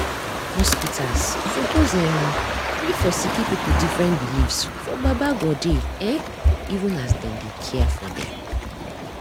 hospitas suppos erm gree for sicki pipu different beliefs for baba godey[um]even as dem dey care for dem